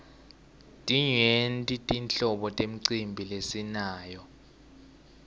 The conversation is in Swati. timyenti tinhlobo temicimbi lesinayo